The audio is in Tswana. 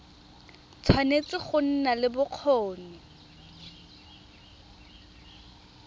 tshwanetse go nna le bokgoni